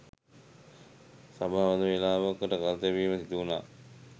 සභාව මද වේලාවකට කල් තැබීමට සිදුවුණා